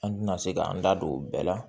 An tɛna se k'an da don o bɛɛ la